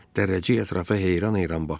Dərrəcik ətrafa heyran-heyran baxdı.